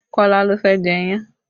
Kọ́lá ló fẹ́ jẹ iyán